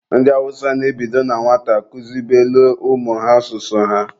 Ndị Awụsa na-ebido na nwata kuzibelụ ụmụ ha asụsụ ha.